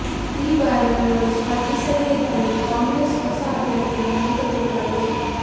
ಈ ಬಾರಿ ಅವರು ಸ್ಪರ್ಧಿಸದೇ ಇದ್ದಲ್ಲಿ ಕಾಂಗ್ರೆಸ್ ಹೊಸ ಅಭ್ಯರ್ಥಿಯನ್ನು ಹುಡುಕಬೇಕಾಗಿದೆ